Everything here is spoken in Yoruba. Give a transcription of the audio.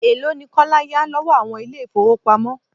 Elo ni Kọ́lá yá lọ́wọ́ àwọn ilé ifowopamo?